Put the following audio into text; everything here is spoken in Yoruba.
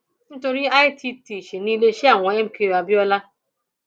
nítorí [cs[ itt ṣì ní iléeṣẹ àwọn mko abiola